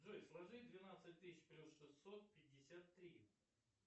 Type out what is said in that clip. джой сложи двенадцать тысяч плюс шестьсот пятьдесят три